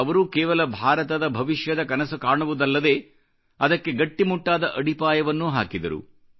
ಅವರು ಕೇವಲ ಭಾರತದ ಭವಿಷ್ಯದ ಕನಸು ಕಾಣುವುದಲ್ಲದೆ ಅದಕ್ಕೆ ಗಟ್ಟಿಮುಟ್ಟಾದ ಅಡಿಪಾಯವನ್ನೂ ಹಾಕಿದರು